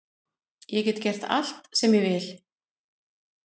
Ég get gert allt sem ég vil.